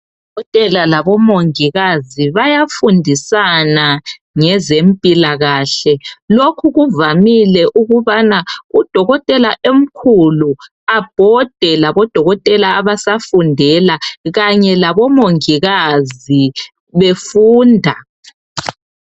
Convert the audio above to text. Odokotela labomongikazi bayafundisana ngezempilakahle, lokhu kuvamile ukubana udokotela omkhulu abhode labodokotela abasafundela kanye labomongikazi befunda.